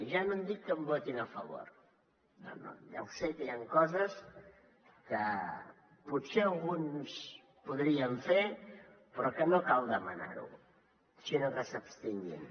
ja no dic que em votin a favor no no ja ho sé que hi han coses que potser alguns les podrien fer però que no cal demanar ho sinó que s’hi abstinguin